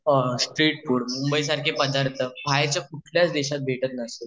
street food Mumbai सारखे पदार्थं बाहेरच्या कुठल्याच देशात भेटतं नसतील